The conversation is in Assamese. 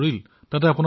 ফোনতে কথা পাতিছিলো